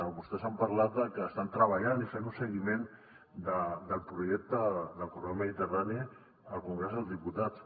vostès han parlat de que estan treballant i fent un seguiment del projecte del corredor mediterrani al congrés dels diputats